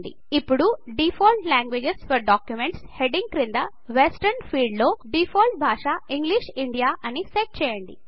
ఇప్పుడు default languages for documents heading క్రింద western field లో డిఫాల్ట్ భాషా ఇంగ్లిష్ ఇండియా అని సెట్ చేయండి